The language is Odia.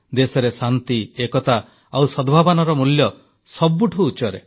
ଦେଶରେ ଶାନ୍ତି ଏକତା ଆଉ ସଦ୍ଭାବନାର ମୂଲ୍ୟ ସବୁଠୁ ଉଚ୍ଚରେ